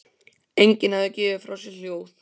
Enginn hafði gefið frá sér hljóð.